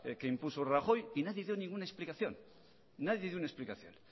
que impuso rajoy y nadie dio ninguna explicación nadie dio una explicación